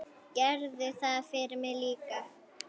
Gerðu það fyrir mig líka.